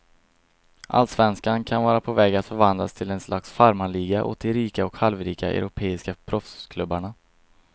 Allsvenskan kan vara på väg att förvandlas till ett slags farmarliga åt de rika och halvrika europeiska proffsklubbarna.